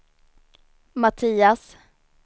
Mattias